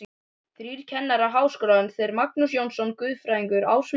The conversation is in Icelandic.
Þrír kennarar Háskólans, þeir Magnús Jónsson guðfræðingur, Ásmundur